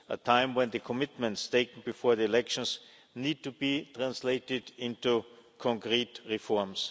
A time when the commitments taken before the elections need to be translated into concrete reforms.